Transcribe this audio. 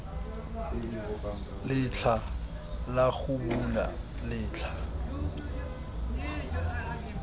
letlha la go bula letlha